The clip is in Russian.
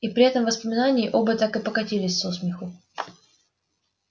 и при этом воспоминании оба так и покатились со смеху